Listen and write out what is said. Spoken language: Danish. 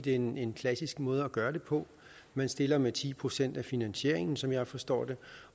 er en en klassisk måde at gøre det på man stiller med ti procent af finansieringen som jeg forstår det